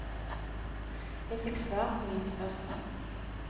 Jeg fikk svar på mine spørsmål.